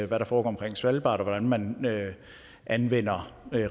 hvad der foregår omkring svalbard og hvordan man anvender